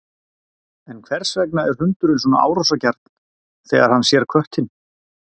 En hvers vegna er hundurinn svona árásargjarn þegar hann sér köttinn?